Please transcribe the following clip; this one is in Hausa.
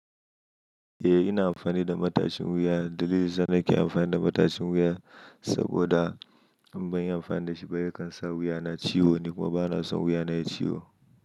Eh ina amfani da matashin wuya. Dalilin zan aiki amfani da matashin wuya saboda in ban yi amfani da shi ba, yakan sa wuya na ciwo, ni kuma bana son wuya na ya ciwo.